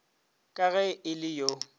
ka ge e le yo